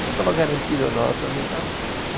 Então estava garantido o nosso ali e tal.